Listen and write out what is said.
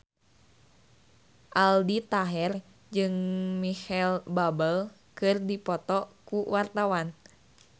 Aldi Taher jeung Micheal Bubble keur dipoto ku wartawan